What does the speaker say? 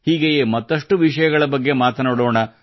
ಹೀಗೆಯೇ ಮತ್ತಷ್ಟು ವಿಷಯಗಳ ಬಗ್ಗೆ ಮಾತನಾಡೋಣ